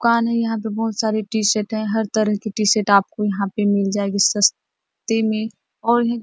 दुकान है यहाँ पे बहुत सारे टीशर्ट हर तरह के टीशर्ट आपको यहाँ पे मिल जाएगी सस्ते मे और यहाँ--